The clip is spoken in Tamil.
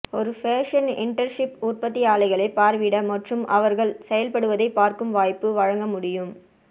ஒரு ஃபேஷன் இன்டர்ன்ஷிப் உற்பத்தி ஆலைகளை பார்வையிட மற்றும் அவர்கள் செயல்படுவதைப் பார்க்கும் வாய்ப்பை வழங்க முடியும்